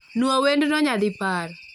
Nuo wendno nyadi par